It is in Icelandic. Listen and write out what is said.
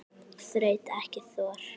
Þraut ekki þor.